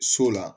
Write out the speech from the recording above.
So la